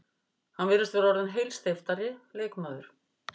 Hann virðist vera orðinn heilsteyptari leikmaður.